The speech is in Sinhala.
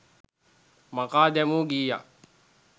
මකා දැමූ ගීයක්